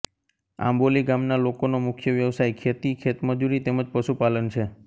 આંબોલી ગામના લોકોનો મુખ્ય વ્યવસાય ખેતી ખેતમજૂરી તેમ જ પશુપાલન છે